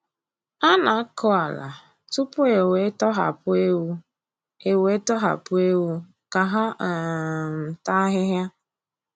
A na-akụ ala tupu ewe tọhapụ ewu ewe tọhapụ ewu ka ha um taa ahịhịa.